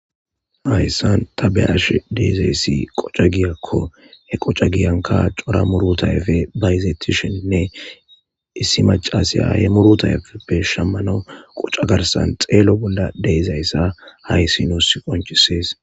Hayssan ta be ash deezayssi qoca giyakko he qoca giyanka cora murutayfe bayizetisheninne issi macasyahe murutayfeppe shammano qoca garsan xeelo bolla deezayssa hayssi nuus qonchisees.